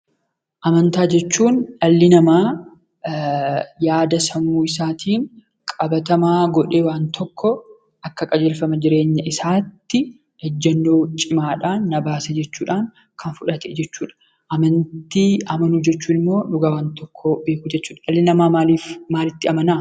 Amantaa jechuun dhalli namaa yaada sammuu isaatiin qabatamaa godhee waan tokko akka qajeelfama jireenya isaatti ejjennoo cimaadhaan, na baasi jechuudhaan kan fudhate jechuudha. Amantii amanuu jechuun ammoo dhugaa waan tokkoo beekuu jechuudha. Dhalli namaa maalii fi maalitti amanaa?